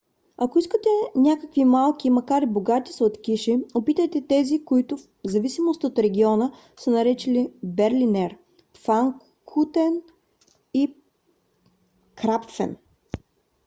ако искате някакви малки макар и богати сладкиши опитайте тези които в зависимост от региона са наречени берлинер пфанкухен или крапфен